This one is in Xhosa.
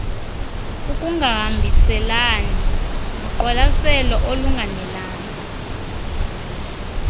ukungahambelani noqwalaselo olunganelanga